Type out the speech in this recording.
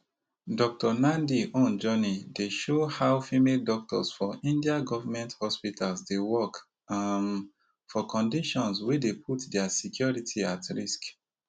dr nandi own journey dey show how female doctors for india govment hospitals dey work um for conditions wey dey put dia security at risk